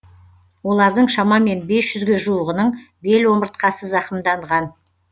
олардың шамамен бес жүзге жуығының бел омыртқасы зақымданған